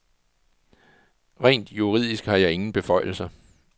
Rent juridisk har jeg ingen beføjelser.